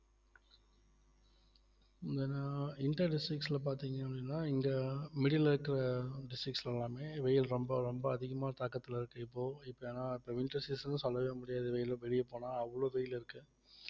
இது என்னனா inter districts ல பாத்தீங்க அப்படின்னா இங்க middle ல இருக்குற districts எல்லாமே வெயில் ரொம்ப ரொம்ப அதிகமா தாக்கத்துல இருக்கு இப்போ இப்ப ஏன்னா இப்ப winter season ன்னு சொல்லவே முடியாது வெயில வெளிய போனா அவ்வளவு வெயில் இருக்கு